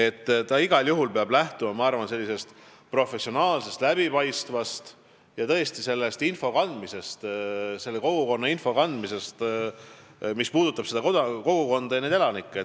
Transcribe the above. Ma arvan, et igal juhul peab lähtuma sellisest professionaalsest ja läbipaistvast info kandmisest, mis puudutab seda kogukonda, neid elanikke.